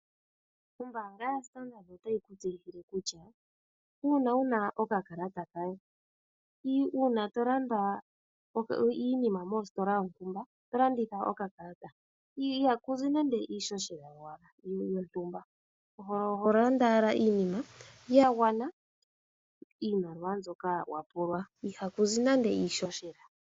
Ombaanga yaStandard otayi tu tseyithile kutya uuna wuna okakalata kaye, uuna to landa iinima mositola yontumba, to landitha okakalata ihaku zi nande iishoshela yowala nenge yontumba, oho landa owala iinima ya gwana iimaliwa mbyoka wa pulwa, ihaku zi nande iishoshela.